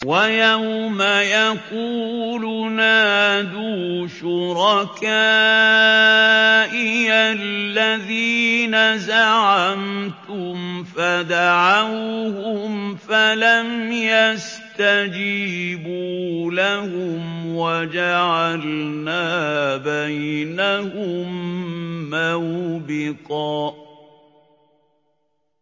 وَيَوْمَ يَقُولُ نَادُوا شُرَكَائِيَ الَّذِينَ زَعَمْتُمْ فَدَعَوْهُمْ فَلَمْ يَسْتَجِيبُوا لَهُمْ وَجَعَلْنَا بَيْنَهُم مَّوْبِقًا